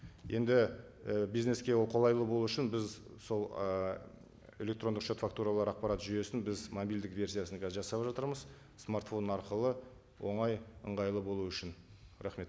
енді і бизнеске ол қолайлы болу үшін біз сол ы электрондық шот фактуралар ақпарат жүйесін біз мобильдік версиясын қазір жасап жатырмыз смартфон арқылы оңай ыңғайлы болу үшін рахмет